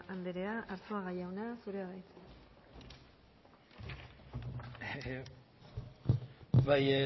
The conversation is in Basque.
anderea arzuaga jauna zurea da hitza bai